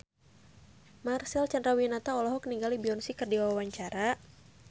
Marcel Chandrawinata olohok ningali Beyonce keur diwawancara